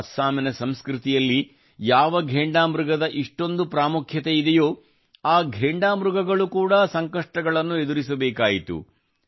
ಅಸ್ಸಾಮಿನ ಸಂಸ್ಕೃತಿಯಲ್ಲಿ ಯಾವ ಘೇಂಡಾಮೃಗದ ಇಷ್ಟೊಂದು ಪ್ರಾಮುಖ್ಯತೆ ಇದೆಯೋ ಆ ಘೇಂಡಾ ಮೃಗಗಳು ಕೂಡಾ ಕಷ್ಟಗಳನ್ನು ಎದುರಿಸಬೇಕಾಯಿತು